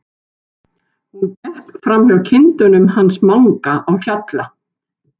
Hún gekk fram hjá kindunum hans Manga á Hjalla.